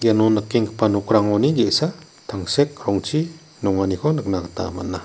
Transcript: iano nikenggipa nokrangoni ge·sa tangsek rongchi nonganiko nikna gita man·a.